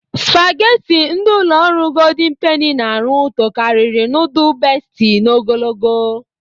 Spageti ndị ụlọ ọrụ Goldịn Peni n'arụ tokariri nudul Besti n'ogologo.